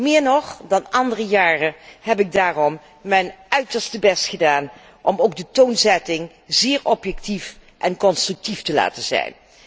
Meer nog dan in andere jaren heb ik daarom mijn uiterste best gedaan om de toonzetting zeer objectief en constructief te laten zijn.